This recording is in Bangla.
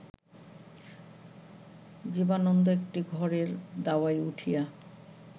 জীবানন্দ একটি ঘরের দাওয়ায় উঠিয়া